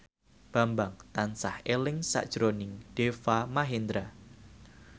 Bambang tansah eling sakjroning Deva Mahendra